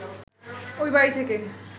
ঐ বাড়ি থেকে